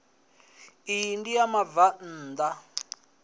iyi ndi ya vhabvann ḓa